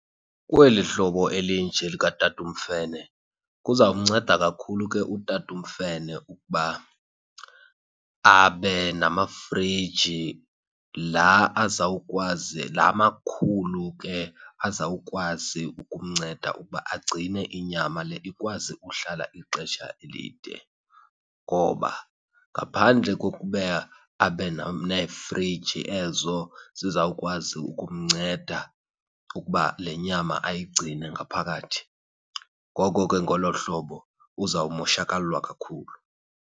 Kweli hlobo elinje likatata uMfene kuzawumnceda kakhulu ke utata uMfene ukuba abe namafriji laa azawukwazi, laa makhulu ke azawukwazi ukumnceda ukuba agcine inyama le ikwazi uhlala ixesha elide. Ngoba ngaphandle kokuba abe neefriji ezo zizawukwazi ukumnceda ukuba le nyama ayigcine ngaphakathi, ngoko ke ngolo hlobo uzawumoshakalelwa kakhulu.